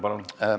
Palun!